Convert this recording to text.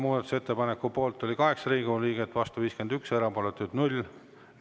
Muudatusettepaneku poolt oli 8 Riigikogu liiget, vastu 51, erapooletuid 0.